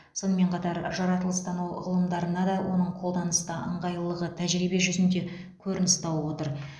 сонымен қатар жаратылыстану ғылымдарында да оның қолданыста ыңғайлылығы тәжірибе жүзінде көрініс тауып отыр